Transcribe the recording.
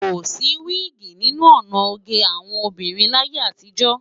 Kò sí wiigi nínú ọ̀nà oge àwọn obìnrin láyé àtijọ́